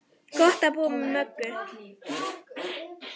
Gott að búa með Möggu.